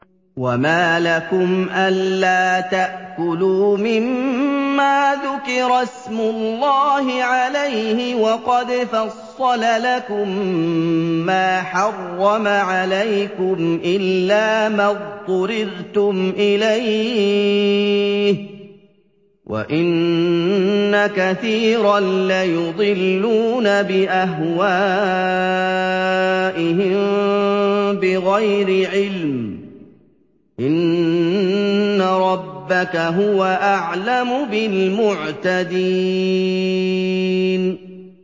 وَمَا لَكُمْ أَلَّا تَأْكُلُوا مِمَّا ذُكِرَ اسْمُ اللَّهِ عَلَيْهِ وَقَدْ فَصَّلَ لَكُم مَّا حَرَّمَ عَلَيْكُمْ إِلَّا مَا اضْطُرِرْتُمْ إِلَيْهِ ۗ وَإِنَّ كَثِيرًا لَّيُضِلُّونَ بِأَهْوَائِهِم بِغَيْرِ عِلْمٍ ۗ إِنَّ رَبَّكَ هُوَ أَعْلَمُ بِالْمُعْتَدِينَ